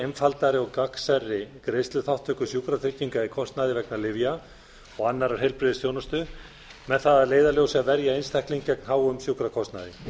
einfaldari og gagnsærri greiðsluþátttöku í sjúkrakostnaði vegna lyfja og annarrar heilbrigðisþjónustu með það að leiðarljósi að verja einstaklinga gegn háum sjúkrakostnaði